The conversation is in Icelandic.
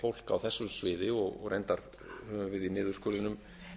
fólk á þessu sviði og reyndar höfum við í niðurskurðinum